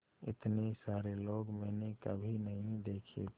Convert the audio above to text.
इतने सारे लोग मैंने कभी नहीं देखे थे